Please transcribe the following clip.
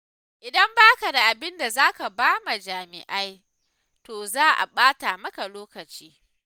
Idan baka da abinda zaka bawa jami'ai to za a ɓata maka lokaci.